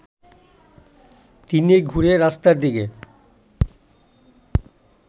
তিনি ঘুরে রাস্তার দিকে